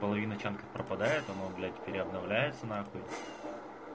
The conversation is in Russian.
половина чянка пропадает оно блять переоформляется на хуй